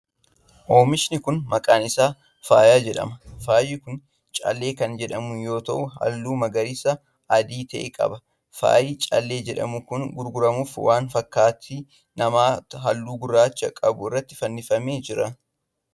Oomishni kun ,maqaan isaa faaya jedhama. Faayyi kun callee kan jedhamu yoo ta'u, halluu magariisa adii ta'e qaba. Faayyi callee jedhamu kun gurguramuuf waan fakkaattii namaa halluu gurraacha qabu irratti fannifamee jira.